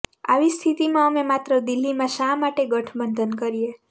આવી સ્થિતીમાં અમે માત્ર દિલ્હીમાં શા માટે ગઠબંધન કરીએ